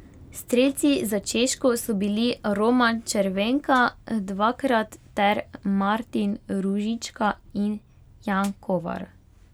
Strelci za Češko so bili Roman Červenka dvakrat ter Martin Ružička in Jan Kovar.